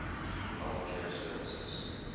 health care services